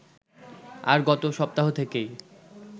আর গত সপ্তাহ থেকেই